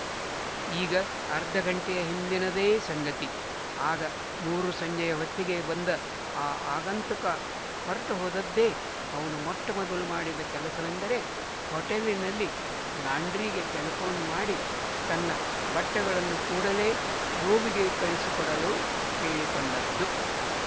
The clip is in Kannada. ಈಗ ಅರ್ಧ ಗಂಟೆಯ ಹಿಂದಿನದೇ ಸಂಗತಿ ಆಗ ಮೂರುಸಂಜೆಯ ಹೊತ್ತಿಗೆ ಬಂದ ಆ ಆಗಂತುಕ ಹೊರಟು ಹೋದದ್ದೇ ಅವನು ಮೊಟ್ಟಮೊದಲು ಮಾಡಿದ ಕೆಲಸವೆಂದರೆ ಹೊಟೆಲ್ಲಿನ ಲಾಂಡ್ರಿಗೆ ಟೆಲಿಫೋ ನ್ ಮಾಡಿ ತನ್ನ ಬಟ್ಟೆಗಳನ್ನು ಕೂಡಲೇ ರೂಮಿಗೆ ಕಳಿಸಿಕೊಡಲು ಕೇಳಿಕೊಂಡದ್ದು